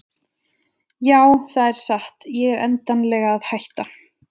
Já það er satt ég er endanlega að hætta.